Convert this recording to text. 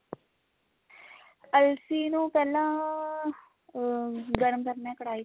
ਅਲਸੀ ਨੂੰ ਪਹਿਲਾਂ ਅਹ ਗਰਮ ਕਰਨਾ ਕੜਾਹੀ ਚ